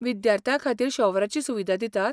विद्यार्थ्यां खातीर शॉवराची सुविधा दितात?